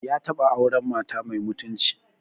Ya taɓa auren mata mai mutunci